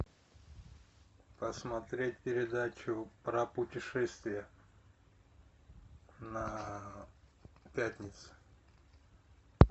посмотреть передачу про путешествия на пятнице